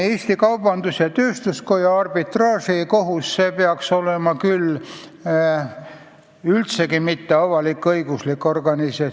Eesti Kaubandus-Tööstuskoja arbitraažikohus ei tohiks küll olla avalik-õiguslik organisatsioon.